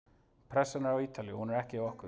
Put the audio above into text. Pressan er á Ítalíu, hún er ekki á okkur.